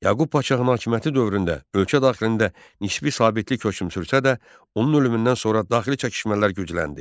Yaqub Padşahın hakimiyyəti dövründə ölkə daxilində nisbi sabitlik hökm sürsə də, onun ölümündən sonra daxili çəkişmələr gücləndi.